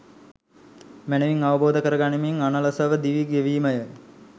මැනවින් අවබෝධ කරගනිමින් අනලසව දිවි ගෙවීමය.